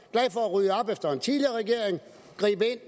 rydde op efter en tidligere regering gribe ind